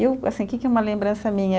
Eu assim, que que é uma lembrança minha?